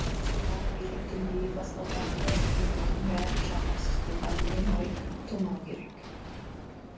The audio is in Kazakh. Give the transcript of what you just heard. қазақстандағы биліктің биік баспалдағында жүргендердің бәрі жағымсыз тұлға деген ой тумауы керек